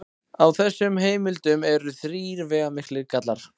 Á þessum heimildum eru þrír veigamiklir gallar.